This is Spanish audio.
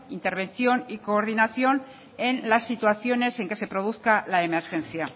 intervención y coordinación en las situaciones en que se produzcan la emergencia